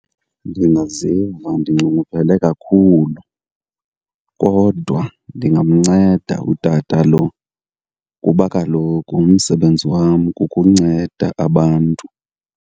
Ndingaziva ndinxunguphele kakhulu, kodwa ndingamnceda utata lo kuba kaloku umsebenzi wam kukunceda abantu.